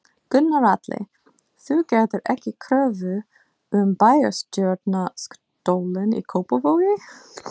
Gunnar Atli: Þú gerðir ekki kröfu um bæjarstjórastólinn í Kópavogi?